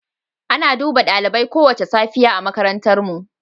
Ana duba dalibai kowace safiya a makarantarmu.